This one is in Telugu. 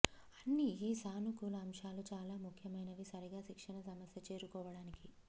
అన్ని ఈ సానుకూల అంశాలు చాలా ముఖ్యమైనవి సరిగా శిక్షణ సమస్య చేరుకోవటానికి